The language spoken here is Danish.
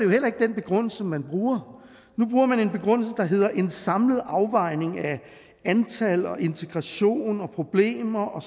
heller ikke den begrundelse man bruger nu bruger man en begrundelse der hedder en samlet afvejning af antal og integration og problemer og